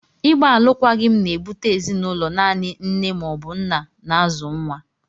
Ịgba alụkwaghịm na-ebute ezinụlọ naanị nne ma ọ bụ nna na-azụ nwa.